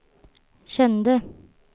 kände